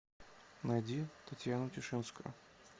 найди татьяну тишинскую